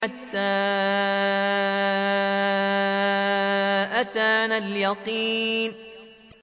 حَتَّىٰ أَتَانَا الْيَقِينُ